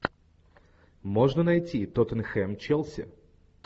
можно найти тоттенхэм челси